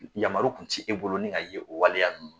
Yamaru kun ti e bolo, ni ga ye, o waleya ninnu na.